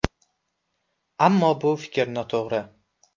Ammo bu fikr noto‘g‘ri.